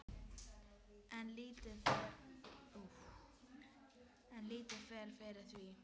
En lítið fer fyrir því.